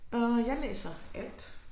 Øh jeg læser alt